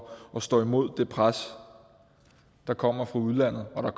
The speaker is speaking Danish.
at stå imod det pres der kommer fra udlandet og